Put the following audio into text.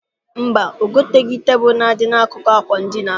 Mba, o goteghị tebụl na-adị n'akụkụ àkwà edina.